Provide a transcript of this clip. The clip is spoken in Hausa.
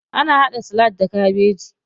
Ana haɗa salak da kabeji.